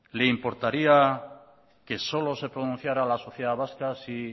le importaría que solo se pronunciara la sociedad vasca si